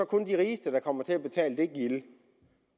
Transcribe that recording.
kun er de rigeste der kommer til at betale det gilde